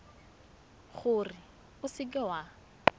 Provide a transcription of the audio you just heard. gore o seka w a